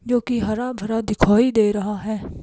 जो कि हरा भरा दिखाई दे रहा है।